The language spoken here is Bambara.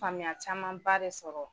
Faamuya caman ba de sɔrɔ